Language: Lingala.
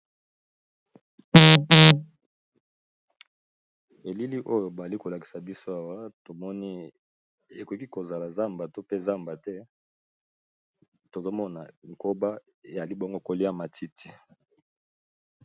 Elili oyo bali ko lakisa biso awa to moni ekoki ko zala zamba to pe zamba te tozo mona nkoba ya libongo kolia matiti .